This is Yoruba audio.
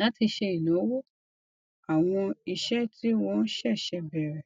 láti ṣe ìnáwó àwọn iṣẹ tí wọn ṣẹṣè bẹrẹ